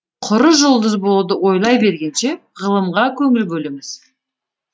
құры жұлдыз болуды ойлай бергенше ғылымға көңіл бөліңіз